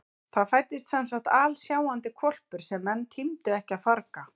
Það fæddist semsagt alsjáandi hvolpur sem menn tímdu ekki að farga.